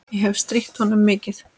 Ég hefi strítt honum mikið.